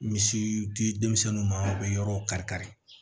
Misi di denmisɛnnu ma u be yɔrɔ kari kari